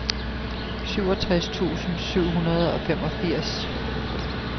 syvogtres tusind syv hundrede og femogfirs